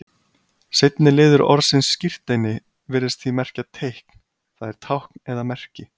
Seinni liður orðsins skírteini virðist því merkja teikn, það er tákn eða merki.